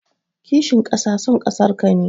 Kishin kasa son kasarka ne.